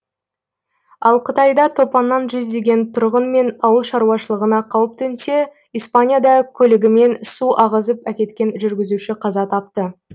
ал қытайда топаннан жүздеген тұрғын мен ауыл шаруашылығына қауіп төнсе испанияда көлігімен су ағызып әкеткен жүргізуші қаза тапты